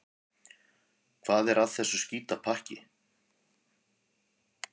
Hvað er að þessu skítapakki?